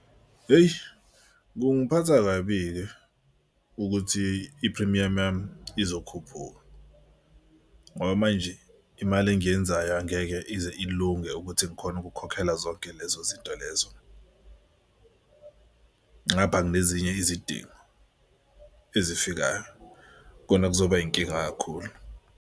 Hheyi, kungiphatha kabi-ke ukuthi iphrimiyamu yami izokhuphuka ngoba manje imali engiyenzayo angeke ize ilunge ukuthi ngikhone ukukhokhela zonke lezo zinto lezo. Ngapha nginezinye izidingo ezifikayo khona kuzoba inkinga kakhulu.